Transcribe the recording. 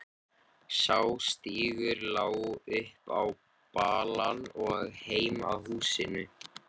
Sá stígur lá upp á balann og heim að húsinu.